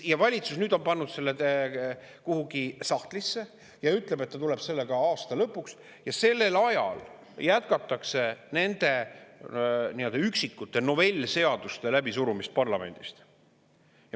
Ja valitsus nüüd on pannud selle kuhugi sahtlisse ja ütleb, et ta tuleb selle aasta lõpuks, ja sellel ajal jätkatakse nende üksikute novellseaduste läbisurumist parlamendis.